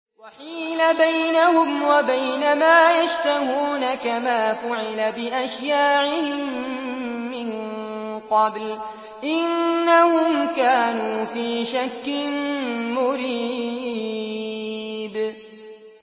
وَحِيلَ بَيْنَهُمْ وَبَيْنَ مَا يَشْتَهُونَ كَمَا فُعِلَ بِأَشْيَاعِهِم مِّن قَبْلُ ۚ إِنَّهُمْ كَانُوا فِي شَكٍّ مُّرِيبٍ